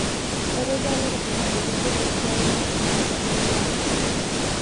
Etoduaa lopisaani ajo kegol esiai enye tenkata engelare